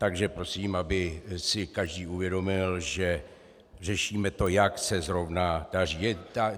Takže prosím, aby si každý uvědomil, že řešíme to, jak se zrovna daří.